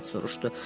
Pilet soruşdu.